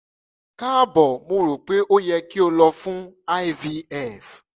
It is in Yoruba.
kaabo mo ro pe o yẹ ki o lọ fun ivf